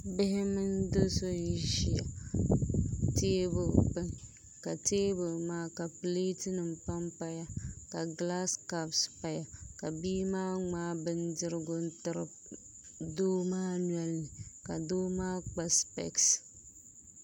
Bihi mini do so n ʒi teebuli gbuni ka teebuli maa ka pileeti nim panpaya ka gilaas kaps paya ka bia maa ŋmaai bindirigu n tiri doo maa nolini ka doo maa kpa spɛs